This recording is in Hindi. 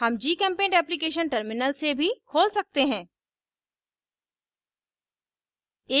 हम gchempaint application terminal से भी खोल सकते हैं